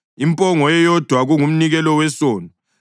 impongo eyodwa kungumnikelo wesono;